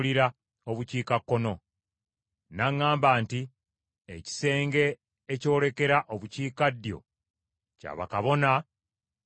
N’aŋŋamba nti, “Ekisenge ekyolekera Obukiikaddyo, kya bakabona abavunaanyizibwa yeekaalu,